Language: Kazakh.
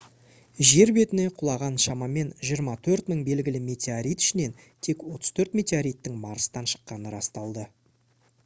жер бетіне құлаған шамамен 24 000 белгілі метеорит ішінен тек 34 метеориттің марстан шыққаны расталды